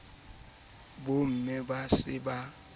bomme ba se ba leleka